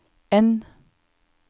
N